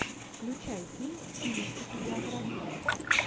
включай фильм в стилистике биография